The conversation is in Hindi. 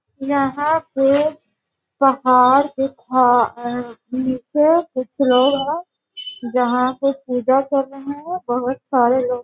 यहाँ पे पहाड़ दिखा निचे कुछ लोग यहाँ पे पूजा कर रहें हैं बहुत सारे लोग।